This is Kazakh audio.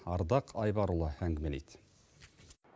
ардақ айбарұлы әңгімелейді